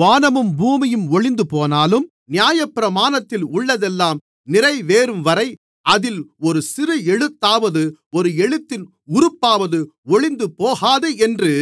வானமும் பூமியும் ஒழிந்துபோனாலும் நியாயப்பிரமாணத்தில் உள்ளதெல்லாம் நிறைவேறும்வரை அதில் ஒரு சிறு எழுத்தாவது ஒரு எழுத்தின் உறுப்பாவது ஒழிந்துபோகாது என்று